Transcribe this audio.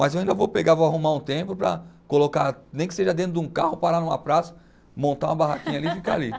Mas eu ainda vou pegar, vou arrumar um tempo para colocar, nem que seja dentro de um carro, parar numa praça, montar uma barraquinha ali e ficar ali.